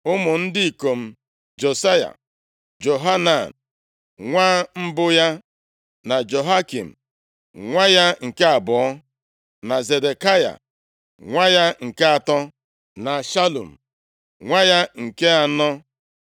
Ụmụ ndị ikom Josaya: Johanan nwa mbụ ya, na Jehoiakim nwa ya nke abụọ, na Zedekaya nwa ya nke atọ, na Shalum nwa ya nke anọ.